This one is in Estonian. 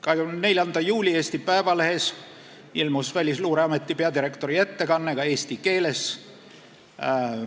24. juuli Eesti Päevalehes ilmus Välisluureameti peadirektori ettekanne ka eesti keeles.